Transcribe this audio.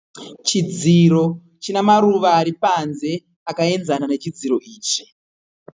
Chidziro china maruva ari panze akaenzana nechidziro ichi.